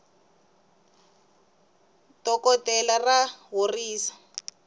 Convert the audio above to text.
dokoltela ra horisa